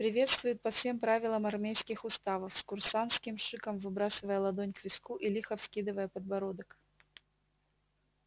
приветствуют по всем правилам армейских уставов с курсантским шиком выбрасывая ладонь к виску и лихо вскидывая подбородок